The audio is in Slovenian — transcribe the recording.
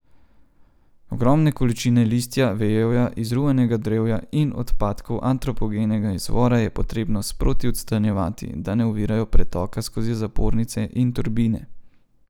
Ogromne količine listja, vejevja, izruvanega drevja in odpadkov antropogenega izvora je potrebno sproti odstranjevati, da ne ovirajo pretoka skozi zapornice in turbine.